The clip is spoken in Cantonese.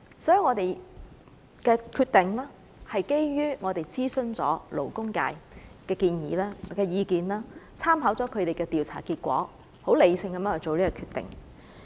所以，我們的決定是基於曾諮詢勞工界的意見，參考了他們的調查結果，十分理性地作出這個決定。